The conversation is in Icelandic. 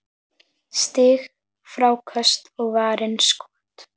Stig, fráköst og varin skot